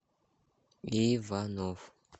иванов